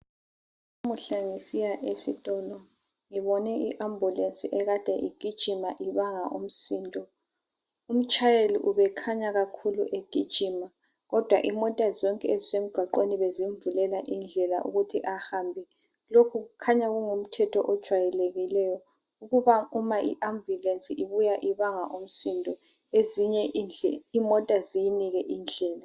Namuhla ngisiya esitolo ngibone iambulensi ade igijima ibanga umsindo umtshayele ubekhanya kakhulu egijima kodwa imota zonke ezisemgwaqeni bezimvulela indlela ukuthi ahambe lokhu kukhanya kungumthetho ojayelekileyo ukuba uma iambulensi ibuya ibanga umsindo ezinye izimota ziyineki indlela.